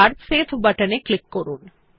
এবার save button এ click করুন